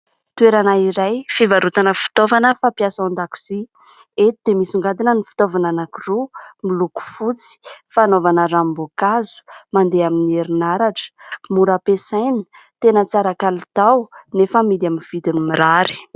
Toerana iray fivarotana fitaovana fampiasa ao an-dakozia. Eto dia misongadina ny fitaovana anankiroa miloko fotsy. Fanaovana ranom-boankazo, mandeha amin'ny herinaratra, mora ampiasaina, tena tsara kalitao anefa amidy amin'ny vidiny mirary.